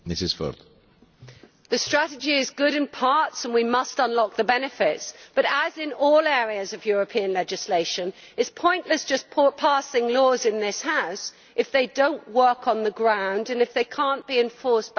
The strategy is good in parts, and we must unlock the benefits, but as in all areas of European legislation, it is pointless just passing laws in this House if they do not work on the ground and if they cannot be enforced back in the Member States.